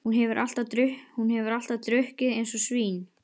Hún hefur alltaf drukkið eins og svín.